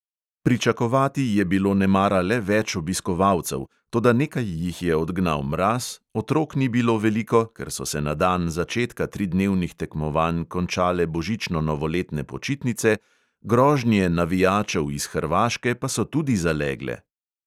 Pričakovati je bilo nemara le več obiskovalcev, toda nekaj jih je odgnal mraz, otrok ni bilo veliko, ker so se na dan začetka tridnevnih tekmovanj končale božično-novoletne počitnice, grožnje navijačev iz hrvaške pa so tudi zalegle.